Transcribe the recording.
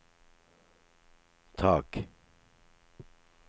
tak